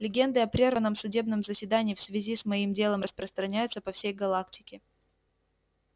легенды о прерванном судебном заседании в связи с моим делом распространяются по всей галактике